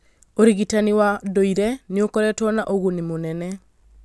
ũrigitani wa ndũire nĩ ũkoretwo na ũguni mũnene